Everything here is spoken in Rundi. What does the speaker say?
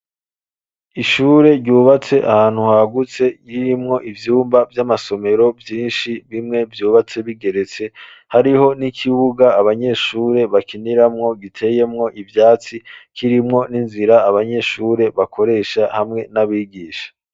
Ishure ryubatse ahantu hagutse ririmwo ibyumba by'amasomero byinshi bimwe byubatse bigeretse, hariho n'ikibuga abanyeshure bakiniramwo giteyemwo ivyatsi kirimwo n'inzira abanyeshure bakoresha hamwe n'abigisha.